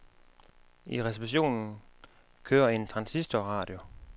I receptionen kører en transistorradio.